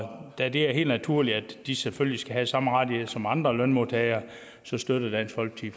da det er helt naturligt at de selvfølgelig skal have samme rettigheder som andre lønmodtagere støtter dansk folkeparti